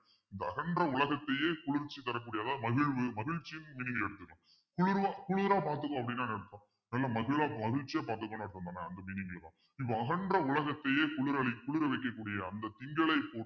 இந்த அகன்ற உலகத்தையே குளிர்ச்சி தரக்கூடிய அதாவது மகிழ்வு மகிழ்ச்சியும் குளிர பாத்துக்கும் அப்பிடின்னா என்ன அர்த்தம் நல்லா மதுரா~ மகிழ்ச்சியா பாத்துக்கணும் அப்பிடின்னா அந்த meaning தான் இப்ப அகன்ற உலகத்தையே குளிரலி~ குளிர வைக்கக்கூடிய அந்த திங்களை போற்றுவோம்